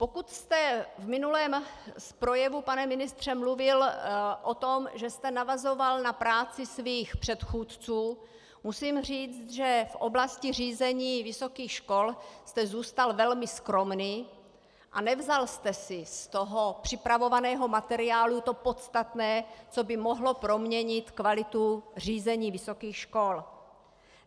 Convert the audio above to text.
Pokud jste v minulém projevu, pane ministře, mluvil o tom, že jste navazoval na práci svých předchůdců, musím říct, že v oblasti řízení vysokých škol jste zůstal velmi skromný a nevzal jste si z toho připravovaného materiálu to podstatné, co by mohlo proměnit kvalitu řízení vysokých škol.